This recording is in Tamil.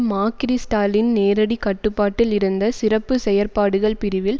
மக்கிரிஸ்டலின் நேரடிக் கட்டுப்பாட்டில் இருந்த சிறப்பு செயற்பாடுகள் பிரிவில்